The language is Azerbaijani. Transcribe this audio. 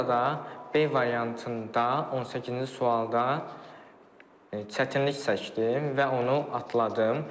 Orada B variantında 18-ci sualda çətinlik çəkdim və onu atladım.